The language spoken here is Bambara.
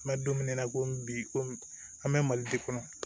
N mɛ don min na ko bi ko an bɛ mali kɔnɔ